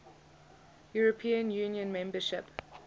european union membership